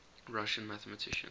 russian mathematicians